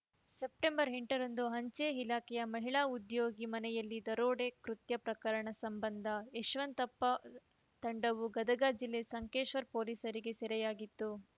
September ಎಂಟರಂದು ಅಂಚೆ ಇಲಾಖೆಯ ಮಹಿಳಾ ಉದ್ಯೋಗಿ ಮನೆಯಲ್ಲಿ ದರೋಡೆ ಕೃತ್ಯ ಪ್ರಕರಣ ಸಂಬಂಧ ಯಶಂವತಪ್ಪ ತಂಡವು ಗದಗ ಜಿಲ್ಲೆ ಸಂಕೇಶ್ವರ ಪೊಲೀಸರಿಗೆ ಸೆರೆಯಾಗಿತ್ತು